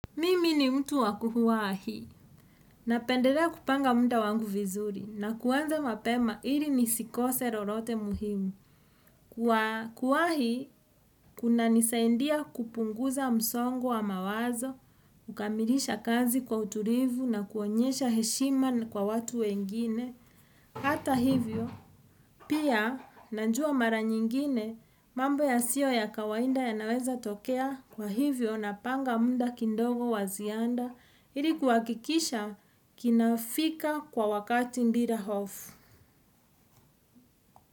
Mimi ni mtu wa kuwahi napendelea kupanga munda wangu vizuri na kuanza mapema ili nisikose lolote muhimu. Kwa kuwahi, kunanisaidia kupunguza msongo wa mawazo, kukamilisha kazi kwa utulivu na kuonyesha heshima kwa watu wengine. Hata hivyo pia na najua mara nyingine mambo yasio ya kawaida yanaweza tokea kwa hivyo napanga muda kidogo wa ziada ili kuhakikisha kinafika kwa wakati bila hofu.